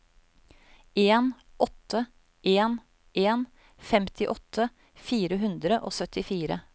en åtte en en femtiåtte fire hundre og syttifire